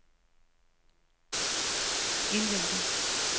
indvendig